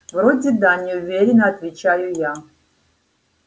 вроде да неуверенно отвечаю я